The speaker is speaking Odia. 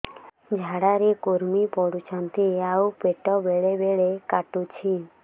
ଝାଡା ରେ କୁର୍ମି ପଡୁଛନ୍ତି ଆଉ ପେଟ ବେଳେ ବେଳେ କାଟୁଛି